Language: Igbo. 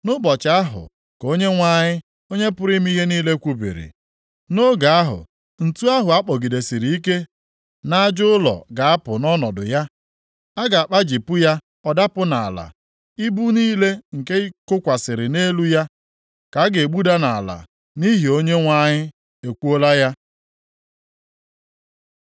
“Nʼụbọchị ahụ,” ka Onyenwe anyị, Onye pụrụ ime ihe niile kwubiri, “Nʼoge ahụ, ǹtu ahụ a kpọgidesịrị ike nʼaja ụlọ ga-apụ nʼọnọdụ ya, a ga-akpajipụ ya ọ dapụ nʼala. Ibu niile nke kokwasịrị nʼelu ya ka a ga-egbuda nʼala.” Nʼihi na Onyenwe anyị ekwuola ya.